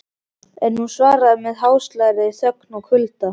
En hún svaraði með háðslegri þögn og kulda.